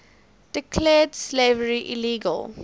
declared slavery illegal